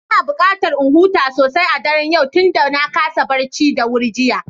Ina buƙatar in huta sosai a daren yau tunda na kasa barci da wuri jiya.